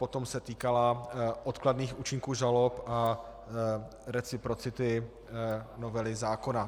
Potom se týkala odkladných účinků žalob a reciprocity novely zákona.